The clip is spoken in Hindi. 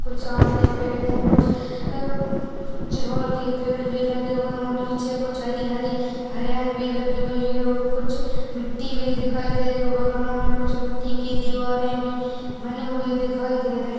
कुछ आम के पेड़ है कुछ अ चिरोल के पेड़ भी लगे हुये है उ नीचे कुछ हरी हरी हरियाली भी लगी हुई है और कुछ मिट्टी भी दिखाय दे रही है बगल में कुछ मिट्टी की दीवारे भी बनी हुई दिखाय दे रही --